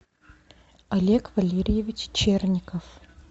олег валерьевич черников